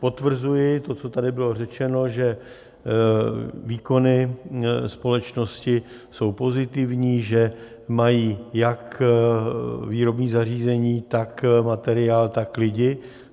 Potvrzuji to, co tady bylo řečeno, že výkony společnosti jsou pozitivní, že mají jak výrobní zařízení, tak materiál, tak lidi.